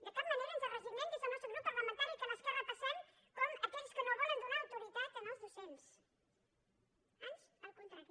de cap manera ens resignem des del nostre grup parlamentari que l’esquerra passem com aquells que no volen donar autoritat als docents ans al contrari